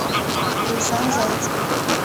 лейсан зайцев